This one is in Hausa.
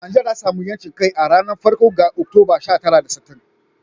Najeriya ta sami 'yancin kai a ranar farko ga Oktoba, sha tara da sittin.